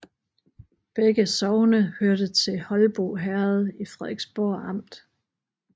Begge sogne hørte til Holbo Herred i Frederiksborg Amt